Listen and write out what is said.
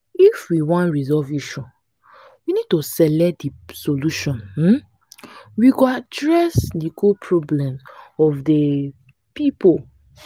if we wan resolve issue we need to select di solution um we go address di core problems of di um pipo